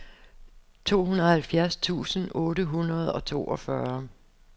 tooghalvfjerds tusind otte hundrede og toogfyrre